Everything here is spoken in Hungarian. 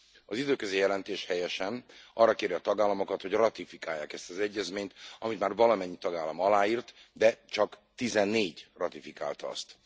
Az időközi jelentés helyesen arra kéri a tagállamokat, hogy ratifikálják ezt az egyezményt, amit már valamennyi tagállam aláírt, de csak 14 ratifikálta azt.